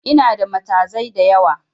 Inada matazai da yawa